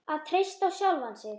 Að treysta á sjálfan sig.